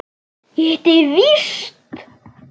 Ég hitti þig víst!